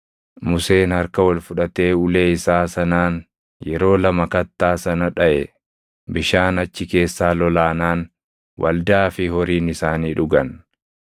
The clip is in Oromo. Museen harka ol fudhatee ulee isaa sanaan yeroo lama kattaa sana dhaʼe. Bishaan achi keessaa lolaanaan waldaa fi horiin isaanii dhugan.